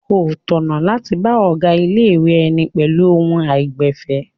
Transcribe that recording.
Kò tọ̀nà láti bá ọ̀gá ilé-ìwé ẹni pẹ̀lú ohùn àìgbẹ̀fẹ̀.